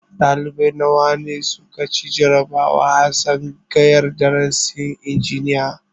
Ɗalibai nawa ne su ka ci jarabawa a tsangayar darasin injiniya?